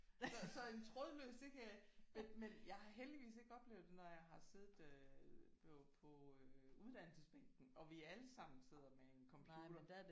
Så så en trådløs det kan jeg ikke men men jeg har heldigvis ikke oplevet det når jeg har siddet øh på øh uddannelsesbænken og vi alle sammen sidder med en computer